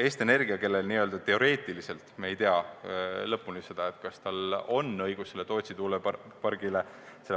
Eesti Energia, kellel n-ö teoreetiliselt – lõpuni me ei tea, kas tal on õigus Tootsi tuulepargile